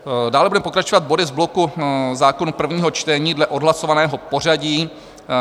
Dále budeme pokračovat body z bloku Zákonů - prvního čtení dle odhlasovaného pořadí.